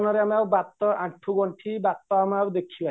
ଆଉ ବାତ ଆଣ୍ଠୁ ଗଣ୍ଠି ବାଟ ଆମେ ଆଉ ଦେଖିବାନି